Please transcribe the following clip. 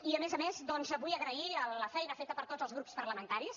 i a més a més doncs vull agrair la feina feta per tots els grups parlamentaris